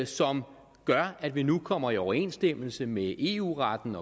som gør at vi nu kommer i overensstemmelse med eu retten